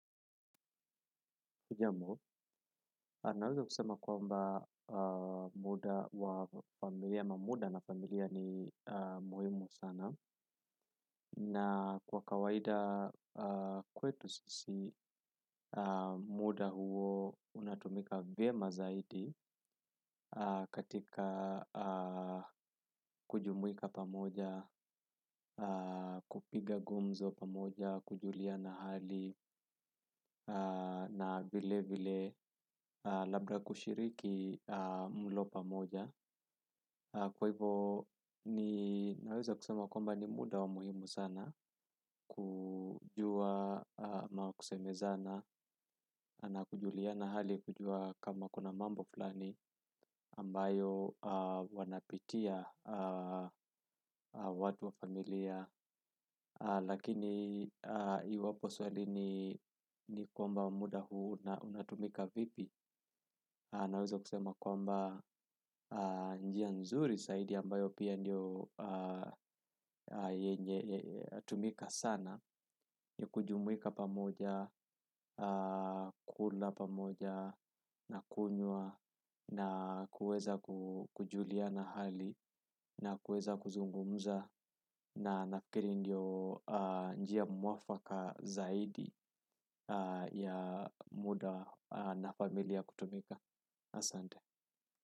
Hujambo, naweza kusema kwamba muda wa familia, ama muda na familia ni muhimu sana. Na kwa kawaida kwetu sisi muda huo unatumika vyema zaidi katika kujumuika pamoja, kupiga gumzo pamoja, kujuliana hali na vile vile labda kushiriki mlo pamoja. Kwa hivyo ni naweza kusema kwmba ni muda wa muhimu sana kujua ama kusemezana na kujuliana hali kujua kama kuna mambo fulani ambayo wanapitia watu wa familia. Lakini iwapo swali ni kwamba muda huu na unatumika vipi naweza kusema kwamba njia nzuri zaidi ambayo pia ndio tumika sana kujumuika pamoja, kukula pamoja, nakunyuwa na kueza kujuliana hali na kueza kuzungumuza na nafikiri ndio njia mwafaka zaidi ya muda na familia kutumika asante.